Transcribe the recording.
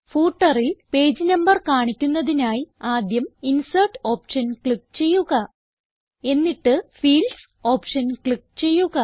Footerൽ page number കാണിക്കുന്നതിനായി ആദ്യം insert option click ചെയ്യുക